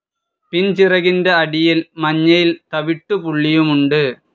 പിൻചിറകിന്റെ അടിയിൽ മഞ്ഞയിൽ തവിട്ടുപുള്ളിയുമുണ്ട്.